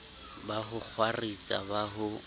ba ho kgwaritsa ba ho